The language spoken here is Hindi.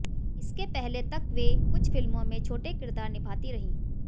इसके पहले तक वे कुछ फिल्मों में छोटे किरदार निभाती रहीं